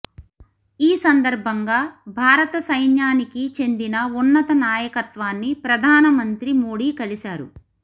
ఈ సందర్భంగా భారత సైన్యానికి చెందిన ఉన్నత నాయకత్వాన్ని ప్రధాన మంత్రి మోడీ కలిశారు